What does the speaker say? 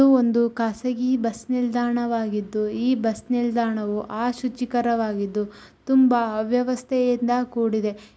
ಒಂದು ಖಾಸಗಿ ಬಸ್ ನಿಲ್ದಾಣವಾಗಿದ್ದು ಈ ಬಸ್ ನಿಲ್ದಾಣವು ಆ ಶುಚಿಕರವಾಗಿದ್ದು ತುಂಬಾ ಅವ್ಯವಸ್ಥೆಯಿಂದ ಕೂಡಿದೆ.